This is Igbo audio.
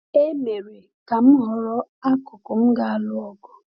E mere ka m họrọ akụkụ m ga-alụ ọgụ.